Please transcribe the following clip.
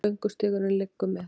Göngustígurinn liggur með